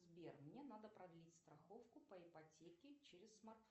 сбер мне надо продлить страховку по ипотеке через смартфон